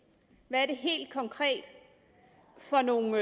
hvad er det helt konkret for nogen